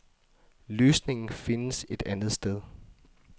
Løsningen findes et andet sted.